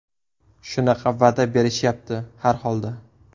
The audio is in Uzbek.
Shunaqa va’da berishyapti, har holda.